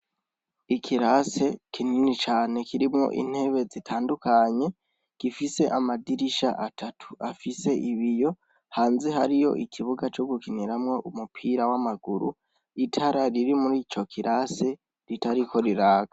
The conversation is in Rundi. Ikirase kinini cane kirimwo intebe zitandukanye, gifise amadirisha atatu afise ibiyo ,hanze hariyo ikibuga co gukiniramwo umupira w'amaguru, itara riri mur'ico kirase ritariko riraka.